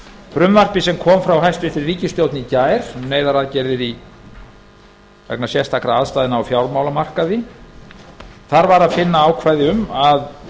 frumvarpi sem kom frá hæstvirtri ríkisstjórn í gær um neyðaraðgerðir vegna sérstakra aðstæðna á fjármálamarkaði var að finna ákvæði um að